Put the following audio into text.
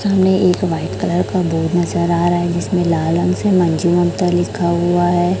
हमें एक white colour का बोर्ड नजर आ रहा है जिसमें लाल रंग से मंजी ममता लिखा हुआ है।